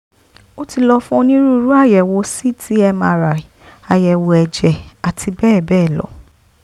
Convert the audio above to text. ó ti lọ fún onírúurú àyẹ̀wò ct mri àyẹ̀wò ẹ̀jẹ̀ àti bẹ́ẹ̀ bẹ́ẹ̀ lọ